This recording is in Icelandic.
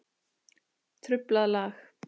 Truflað lag.